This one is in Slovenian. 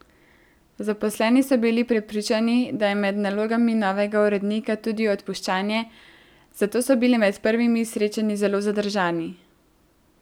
Zaposleni so bili prepričani, da je med nalogami novega urednika tudi odpuščanje, zato so bili med prvimi srečanji zelo zadržani.